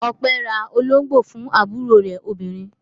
Ọpẹ́ ra olóńgbò fún àbúrò rẹ̀ obìnrin.